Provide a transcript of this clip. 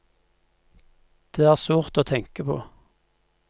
Det er sårt å tenke på.